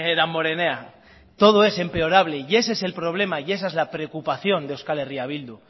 damborenea todo es empeorable y ese es el problema y esa es la preocupación de euskal herria bildu